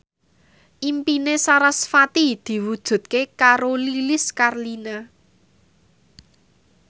impine sarasvati diwujudke karo Lilis Karlina